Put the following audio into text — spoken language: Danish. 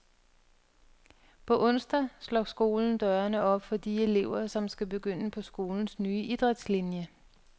På onsdag slår skolen dørene op for de elever, som skal begynde på skolens nye idrætslinie.